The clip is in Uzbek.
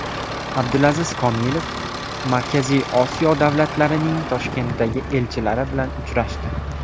Abdulaziz Komilov Markaziy Osiyo davlatlarining Toshkentdagi elchilari bilan uchrashdi.